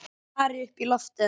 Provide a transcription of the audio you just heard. Stari upp í loftið.